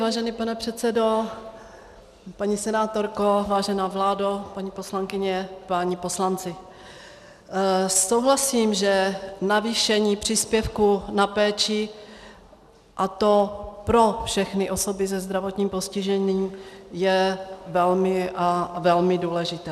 Vážený pane předsedo, paní senátorko, vážená vládo, paní poslankyně, páni poslanci, souhlasím, že navýšení příspěvku na péči, a to pro všechny osoby se zdravotním postižením, je velmi a velmi důležité.